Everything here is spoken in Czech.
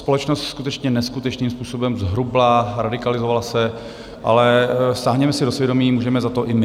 Společnost skutečně neskutečným způsobem zhrubla, radikalizovala se, ale sáhněme si do svědomí, můžeme za to i my.